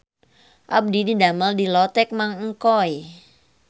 Abdi didamel di Lotek Mang Engkoy